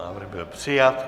Návrh byl přijat.